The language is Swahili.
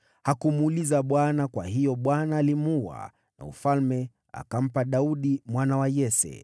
hakumuuliza Bwana . Kwa hiyo Bwana alimuua, na ufalme akampa Daudi mwana wa Yese.